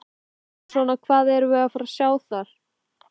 Hvernig svona, hvað erum við að fara sjá þar?